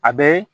A bɛ